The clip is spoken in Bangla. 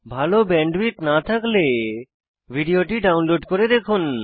ভাল ব্যান্ডউইডথ না থাকলে ভিডিওটি ডাউনলোড করে দেখুন